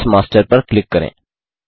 notes master पर click करें